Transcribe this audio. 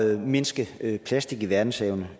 at mindske plastik i verdenshavene